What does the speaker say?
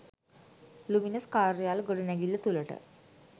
luminous කාර්යාල ගොඩනැගිල්ල තුළට